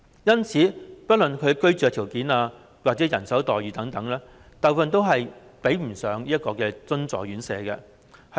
因此，不論是居住條件或人手待遇等，大部分都及不上津助院舍。